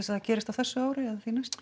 að það gerist á þessu ári eða